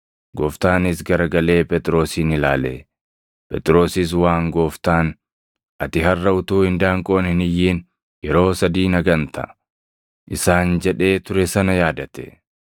Gooftaanis garagalee Phexrosin ilaale. Phexrosis waan Gooftaan, “Ati harʼa utuu indaanqoon hin iyyin yeroo sadii na ganta” isaan jedhee ture sana yaadate.